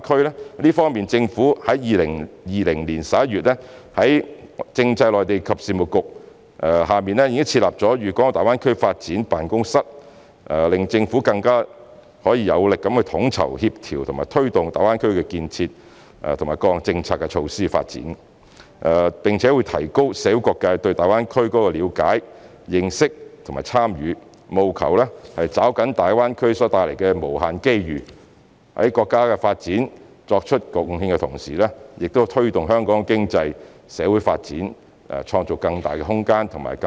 在這方面，政府在2020年11月在政制及內地事務局下設立了粵港澳大灣區發展辦公室，使政府可以更有力地統籌、協調和推動大灣區建設及各項政策措施的發展，並提高社會各界對大灣區建設的了解、認識和參與，務求抓緊大灣區所帶來的無限機遇；在為國家發展作出貢獻的同時，也為推動香港的經濟、社會發展創造更大的空間和動力。